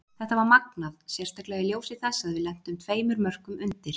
Þetta var magnað, sérstaklega í ljósi þess að við lentum tveimur mörkum undir.